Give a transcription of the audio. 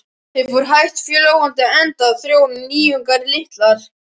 Þeim fór hægt fjölgandi enda þróun og nýjungar litlar.